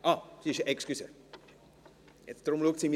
– Entschuldigen Sie, deshalb schaut sie mich so an.